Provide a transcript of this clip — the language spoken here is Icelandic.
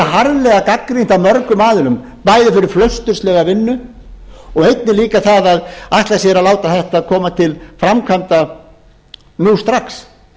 harðlega gagnrýnt af mörgum aðilum bæði fyrir flausturslega vinnu og einnig líka það að ætla sér að láta þetta koma til framkvæmda nú strax